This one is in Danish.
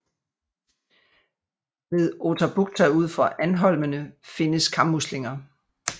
Ved Oterbukta ud for Andholmene findes kammuslinger